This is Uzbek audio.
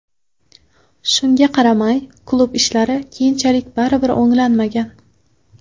Shunga qaramay, klub ishlari keyinchalik baribir o‘nglanmagan.